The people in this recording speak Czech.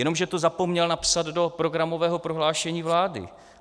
Jenomže to zapomněl napsat do programového prohlášení vlády.